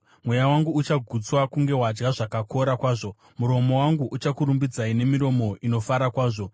Mweya wangu uchagutswa kunge wadya zvakakora kwazvo; muromo wangu uchakurumbidzai nemiromo inofara kwazvo.